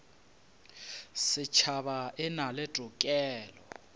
setšhaba e na le tokelo